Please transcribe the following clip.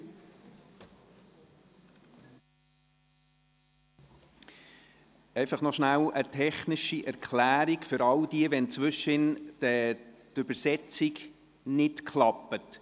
Kurz eine technische Erklärung: Bitte melden Sie sich, wenn zwischendurch die Übersetzung nicht klappt.